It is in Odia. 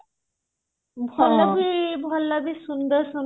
ହେଲେ ବି ଭଲ ସୁନ୍ଦର ସୁନ୍ଦର